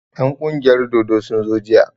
En ƙungiyar dodo sun zo jiya